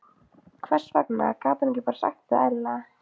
Hvers vegna gat hún ekki bara sagt þetta eðlilega?